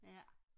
ja